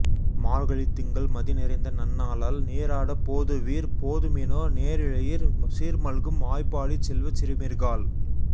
மார்கழித் திங்கள் மதி நிறைந்த நன்னாளால் நீராடப் போதுவீர் போதுமினோ நேரிழையீர் சீர் மல்கும் ஆய்ப்பாடிச் செல்வச் சிறுமீர்காள்